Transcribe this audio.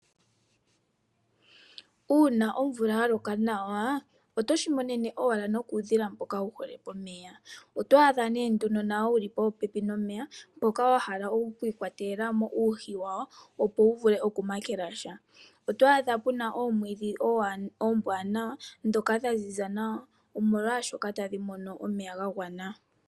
Uuna omvula ya loka nawa oto shimonene owala no kuudhila mboka wuhole pomeya. Oto adha nee nduno nawo wuli popepi nomeya mboka wahala wiikwatelamo uuhi wawo opo wu vule okumakela sha. Oto adha peesha puna omwiidhi omwaanawa mboka wa ziza nawa , omlwaashoka tadhi mono omeya ga gwana